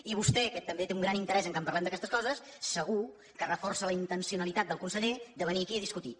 i vostè que també té un gran interès que parlem d’aquestes coses segur que reforça la intencionalitat del conseller de venir aquí a discutir